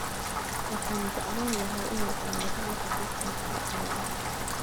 Waxaan jeclaan lahaa inaan ogaado waxa halkan ka dhacaya